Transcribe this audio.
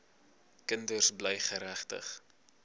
kinders bly geregtig